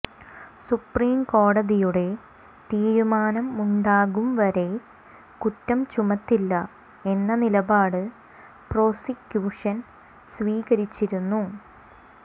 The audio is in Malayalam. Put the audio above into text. സുപ്രീംകോടതിയുടെ തിരുമാനമുണ്ടാകും വരെ കുറ്റം ചുമത്തില്ല എന്ന നിലപാട് പ്രോസിക്യുഷൻ സ്വീകരിച്ചിരുന്നു